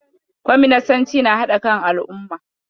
Kwaminasanci na haɗa kan al'umma.